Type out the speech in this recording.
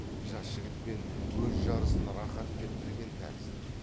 жас жігітпен өз жарысын рақат деп білген тәрізді